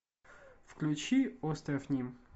включи остров ним